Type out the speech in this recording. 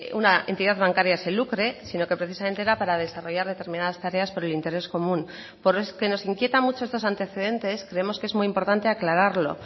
una entidad bancaria se lucre sino que precisamente era para desarrollar determinadas tareas por el interés común pero es que como nos inquieta mucho estos antecedentes creemos que es muy importante aclararlo